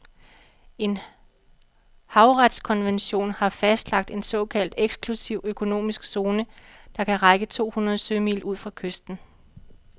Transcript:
En havretskonvention har fastlagt en såkaldt eksklusiv økonomisk zone, der kan række to hundrede sømil ud fra kysten.